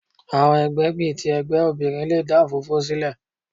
Àwọn ẹgbẹ́ bí i ti ẹgbẹ́ obìnrin le dà òfófó sílẹ̀.